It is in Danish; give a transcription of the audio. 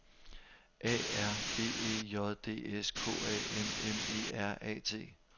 A R B E J D S K A M M E R A T